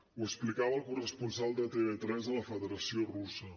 ho explicava el corresponsal de tv3 a la federació russa